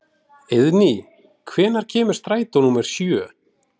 Eiðný, hvenær kemur strætó númer sjö?